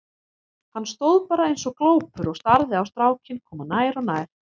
Hann stóð bara eins og glópur og starði á strákinn koma nær og nær.